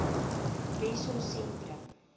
wessosentrum